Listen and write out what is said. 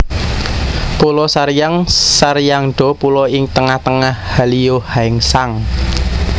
Pulo Saryang Saryangdo pulo ing tengah tengah Hallyeo Haesang